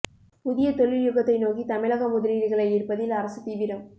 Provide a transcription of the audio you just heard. புதிய தொழில் யுகத்தை நோக்கி தமிழகம் முதலீடுகளை ஈர்ப்பதில் அரசு தீவிரம்